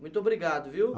Muito obrigado, viu?